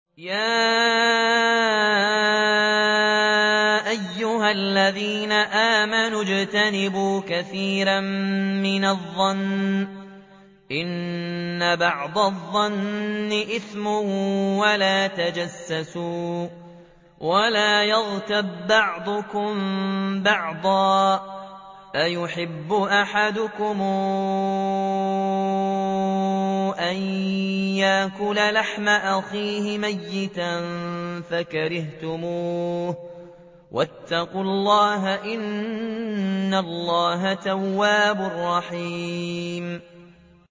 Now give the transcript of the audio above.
يَا أَيُّهَا الَّذِينَ آمَنُوا اجْتَنِبُوا كَثِيرًا مِّنَ الظَّنِّ إِنَّ بَعْضَ الظَّنِّ إِثْمٌ ۖ وَلَا تَجَسَّسُوا وَلَا يَغْتَب بَّعْضُكُم بَعْضًا ۚ أَيُحِبُّ أَحَدُكُمْ أَن يَأْكُلَ لَحْمَ أَخِيهِ مَيْتًا فَكَرِهْتُمُوهُ ۚ وَاتَّقُوا اللَّهَ ۚ إِنَّ اللَّهَ تَوَّابٌ رَّحِيمٌ